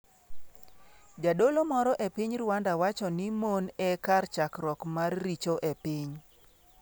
Jadolo moro e piny Rwanda wacho ni mon 'e kar chakruok mar richo' e piny